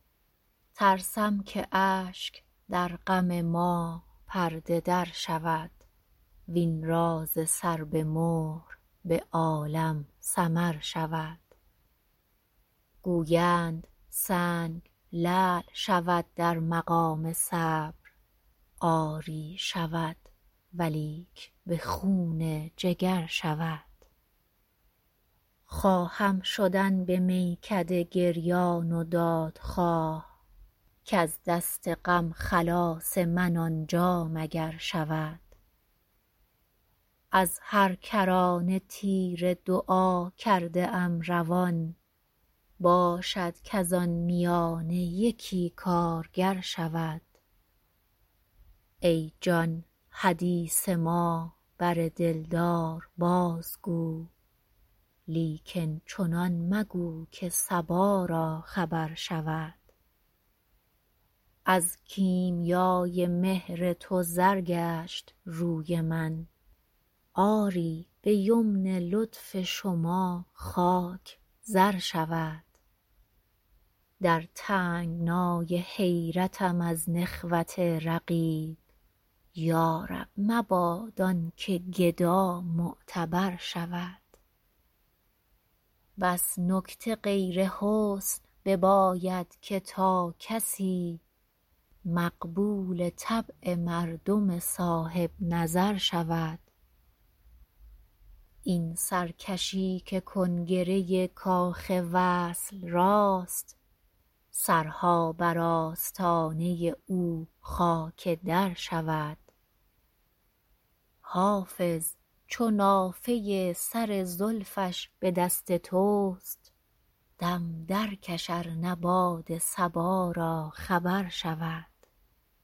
ترسم که اشک در غم ما پرده در شود وین راز سر به مهر به عالم سمر شود گویند سنگ لعل شود در مقام صبر آری شود ولیک به خون جگر شود خواهم شدن به میکده گریان و دادخواه کز دست غم خلاص من آنجا مگر شود از هر کرانه تیر دعا کرده ام روان باشد کز آن میانه یکی کارگر شود ای جان حدیث ما بر دلدار بازگو لیکن چنان مگو که صبا را خبر شود از کیمیای مهر تو زر گشت روی من آری به یمن لطف شما خاک زر شود در تنگنای حیرتم از نخوت رقیب یا رب مباد آن که گدا معتبر شود بس نکته غیر حسن بباید که تا کسی مقبول طبع مردم صاحب نظر شود این سرکشی که کنگره کاخ وصل راست سرها بر آستانه او خاک در شود حافظ چو نافه سر زلفش به دست توست دم درکش ار نه باد صبا را خبر شود